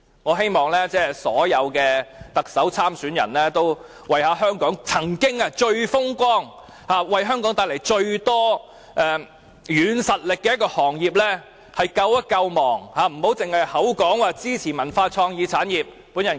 我希望所有特首選舉參選人都能為香港這個曾經最風光、帶來最大軟實力的行業進行救亡，不要只是口說支持文化創意產業。